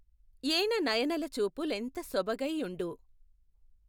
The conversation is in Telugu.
ఏణనయనలచూపు లెంత సొబగైయుండు